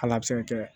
Hal'a be se ka kɛ